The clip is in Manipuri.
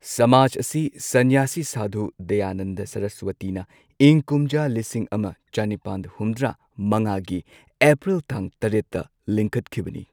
ꯁꯃꯥꯖ ꯑꯁꯤ ꯁꯟꯌꯥꯁꯤ ꯁꯥꯙꯨ ꯗꯌꯥꯅꯟꯗ ꯁꯔꯁꯋꯇꯤꯅ ꯏꯪ ꯀꯨꯝꯖꯥ ꯂꯤꯁꯤꯡ ꯑꯃ ꯆꯅꯤꯄꯥꯟ ꯍꯨꯝꯗ꯭ꯔꯥ ꯃꯉꯥꯒꯤ ꯑꯦꯄ꯭ꯔꯤꯜ ꯇꯥꯡ ꯇꯔꯦꯠꯇ ꯂꯤꯡꯈꯠꯈꯤꯕꯅꯤ꯫